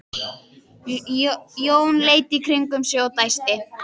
Jón leit í kringum sig og dæsti.